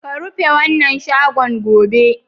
Ka rufe wannan shagon, gobe!